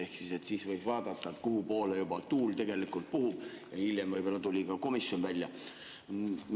Ehk siis võis vaadata, kuhupoole juba tuul puhub, ja hiljem võib-olla tuli ka komisjon välja.